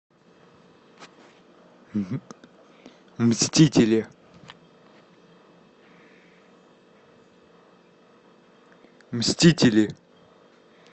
мстители мстители